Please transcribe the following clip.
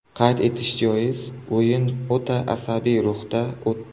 Qayd etish joiz, o‘yin o‘ta asabiy ruhda o‘tdi.